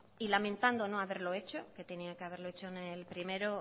y lamentando no haberlo hecho que tenía que haberlo hecho en el primero